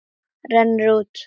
Rennur út.